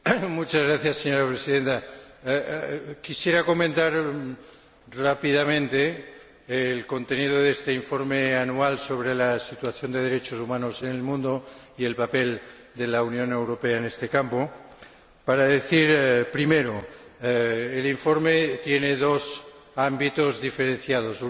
Señora Presidenta, quisiera comentar rápidamente el contenido de este informe anual sobre la situación de los derechos humanos en el mundo y el papel de la Unión Europea en este campo para decir, primero, que el informe tiene dos ámbitos diferenciados uno es